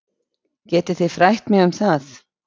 Getið þið frætt mig um það.